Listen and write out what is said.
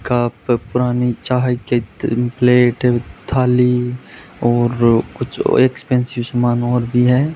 Cup पुरानी चाय केत अ प्लेट वीथ थाली और कुछ वै एक्सपेंसिव समान और भी है।